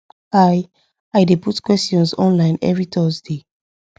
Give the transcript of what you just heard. i i dey put questions online every thursday